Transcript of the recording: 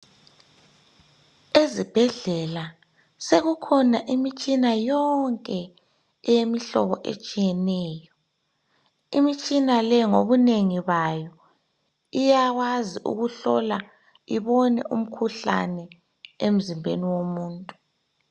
Ezibhedlela sekukhona imitshina yonke eyemihlobo etshiyeneyo. Imitshina le ngobunengi bayo iyakwazi ukuhlola ibone umkhuhlane emzimbeni womuntu.